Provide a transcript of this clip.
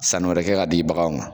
Sani wɛrɛ kɛ ka di baganw ma.